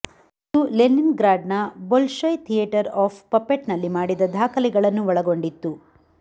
ಇದು ಲೆನಿನ್ಗ್ರಾಡ್ನ Bolshoi theatre of ಪಪೆಟ್ನಲ್ಲಿ ಮಾಡಿದ ದಾಖಲೆಗಳನ್ನು ಒಳಗೊಂಡಿತ್ತು